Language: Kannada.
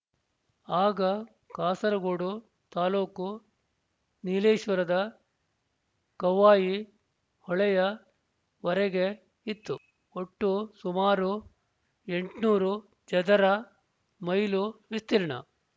ಆಗ ಕಾಸರಗೋಡು ತಾಲೂಕು ನೀಲೇಶ್ವರದ ಕವ್ವಾಯಿ ಹೊಳೆಯ ವರೆಗೆ ಇತ್ತು ಒಟ್ಟು ಸುಮಾರು ಎಂಟುನೂರು ಚದರ ಮೈಲು ವಿಸ್ತೀರ್ಣ